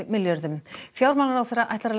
milljörðum fjármálaráðherra ætlar